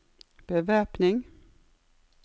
bevæpning